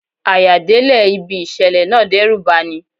À-yà délẹ̀ ibi ìṣẹ̀lẹ̀ náà dẹ́rùbà ni.